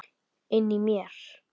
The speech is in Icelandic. Inni í mér.